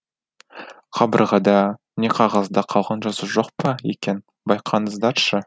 қабырғада не қағазда қалған жазу жоқ па екен байқаңыздаршы